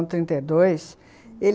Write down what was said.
trinta e dois, ah... ele...